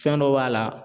Fɛn dɔ b'a la